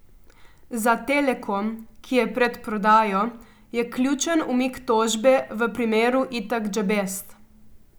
Za Telekom, ki je pred prodajo, je ključen umik tožbe v primeru Itak Džabest.